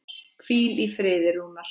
Hvíl í friði Rúnar.